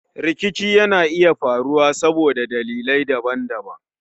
Rikici Yana iya faruwa saboda dalilai daban-daban.